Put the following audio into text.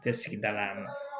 Tɛ sigida la yan nɔ